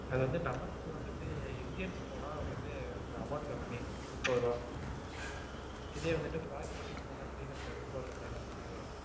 அது வந்து நமக்கு வந்துட்டு இந்தியன் போனா வந்துட்டு amount கம்மி முப்பது ரூபாய். இதே வந்துட்டு foreigners லாம் போனா three hundred, four hundred அந்த மாதிரி வரும்.